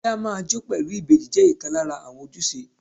Kí á máa jó pẹ̀lú ìbejì jẹ́ ìkan lára àwọn ojúṣe.